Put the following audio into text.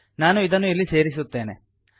ನಾನು ಇದನ್ನು ಇಲ್ಲಿ ಸೇರಿಸುತ್ತೇನೆ